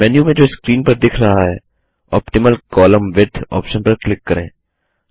menu में जो screen पर दिख रहा है ऑप्टिमल कोलम्न विड्थ ऑप्शन पर क्लिक करें